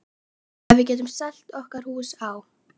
Ef við getum selt okkar hús á